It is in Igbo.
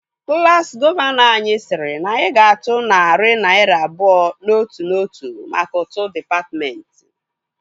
Klassi gọvanọ anyị sịrị na anyị ga-atụ narị naira abụọ n'otu n'otu mka ụtụ dịpatmentị